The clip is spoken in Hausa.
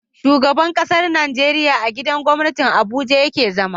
Shugaban ƙasar Nigeria a gidan gwamnati abuja yake zama